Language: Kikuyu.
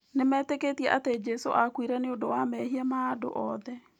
Nĩmetĩkĩtie atĩ Jesũ aakuire nĩ ũndũ wa mehia ma andũ othe.